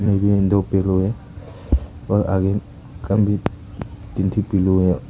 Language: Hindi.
दो पिलो है और आगे तीन ठो पिलो है।